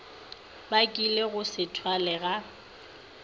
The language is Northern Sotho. bakilego go se thwalwe ga